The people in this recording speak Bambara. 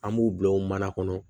An b'u bila o mana kɔnɔ